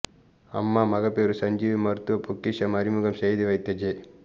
அம்மா மகப்பேறு சஞ்சீவி மருத்துவ பொக்கிஷம் அறிமுகம் செய்து வைத்த ஜெ